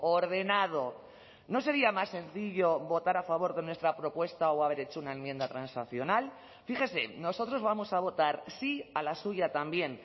ordenado no sería más sencillo votar a favor de nuestra propuesta o haber hecho una enmienda transaccional fíjese nosotros vamos a votar sí a la suya también